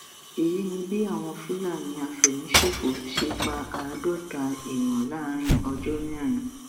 èyí ni bí àwọn fúlàní àfẹmíṣòfò ṣe pa àádọta èèyàn láàrin ọjọ mẹrin